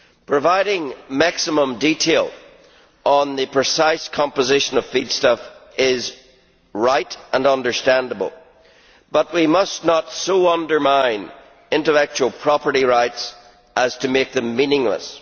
Providing maximum detail on the precise composition of feedstuffs is right and understandable, but we must not so undermine intellectual property rights as to make them meaningless.